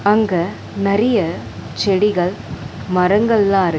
அங்க நெறைய செடிகள் மரங்கள்லா இருக்--